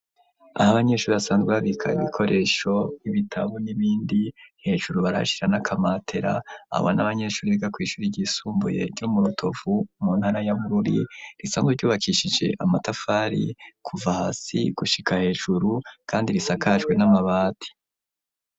Aho abanyeshuri basanzwe babika ikoresho ibitabu n'ibindi, hejuru barashira akamatera abo n'abanyeshuri biga kw'ishuri ryisumbuye ryo mu rutovu mu ntara ya Bururi, risanzwe ryubakishije amatafari kuva hasi gushika hejuru kandi risakajwe n'amabati.